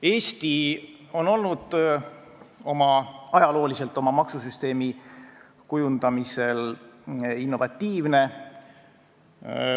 Eesti on ajalooliselt olnud oma maksusüsteemi kujundamisel innovatiivne.